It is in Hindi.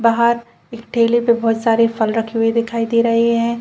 बाहर एक ठेले पे बहोत सारे फल रखे हुए दिखाई रहें हैं।